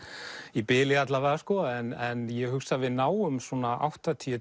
í bili alla vega en ég hugsa að við náum svona áttatíu